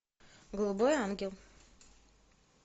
голубой ангел